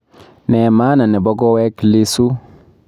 Ne maana nebo koweek Lissu